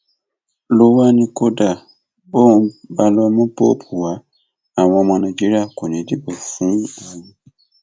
ló wáá ní kódà bóun bá lọọ mú póòpù wá àwọn ọmọ nàìjíríà kò ní í dìbò fún òun